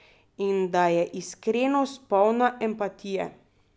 In da je iskrenost polna empatije.